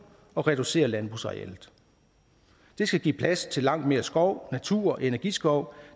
og reducere landbrugsarealet det skal give plads til langt mere skov natur og energiskov